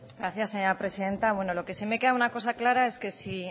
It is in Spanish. gracias señora presidenta lo que sí me queda una cosa clara es que si